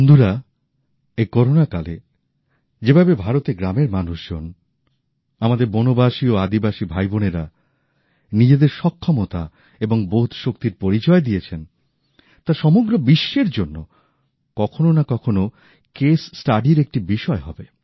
বন্ধুরা এই করোনা কালে যেভাবে ভারতের গ্রামের মানুষজন আমাদের বনবাসী ও আদিবাসী ভাইবোনেরা নিজেদের সক্ষমতা এবং বোধশক্তির পরিচয় দিয়েছেন তা সমগ্র বিশ্বের জন্য কখনো না কখনো কেস স্টাডির একটি বিষয় হবে